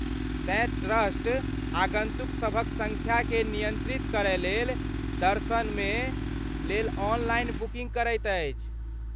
तेँ ट्रस्ट आगन्तुकसभक सङ्ख्याकेँ नियन्त्रित करयलेल दर्शन लेल ऑनलाइन बुकिन्ग करैत अछि।